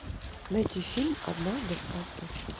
найти фильм однажды в сказке